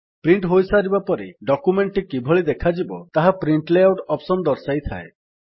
print ହୋଇସାରିବା ପରେ document କିଭଳି ଦେଖାଯିବ ତାହା ପ୍ରିଣ୍ଟ ଲେଆଉଟ୍ ଅପ୍ସନ୍ ଦର୍ଶାଇଥାଏ